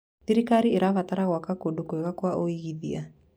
Thirikari ĩrabatara gwaka kũndũ kwega kwa ũigithia.